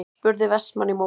spurði Vestmann í móti.